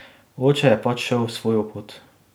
Oče je pač šel svojo pot.